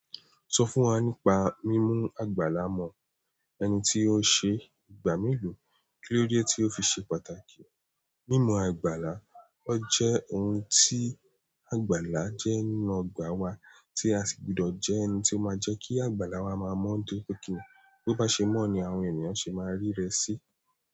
Sọ fún wa nípa mímú àgbàlá mọ ẹni tí ó ṣe ìgbà me lo. Kíló dé tí ó fi ṣe pàtàkì? Mímú àgbàlá, ó jẹ́ ohun tí àgbàlá jẹ́ nínú ọgbà wa tí a sì gbudọ̀ jẹ ẹni tí ó máa jẹ́ kí àgbàlá wa máa mọ́ dé tóripe kìí nì. Bí ó bá ṣe mọ́ ni àwọn ènìyàn ṣe máa rí rẹ sí.